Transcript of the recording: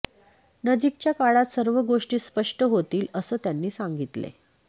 नजीकच्या काळात सर्व गोष्टी स्पष्ट होतील असं त्यांनी सांगितले